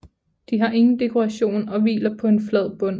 De har ingen dekoration og hviler på en flad bund